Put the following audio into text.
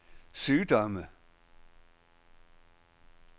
sygdomme